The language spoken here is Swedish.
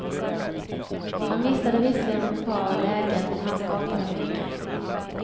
Han missade visserligen ett par lägen, men han skapade mycket.